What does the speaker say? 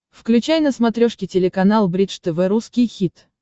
включай на смотрешке телеканал бридж тв русский хит